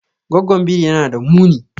Goggon biri yana da muni.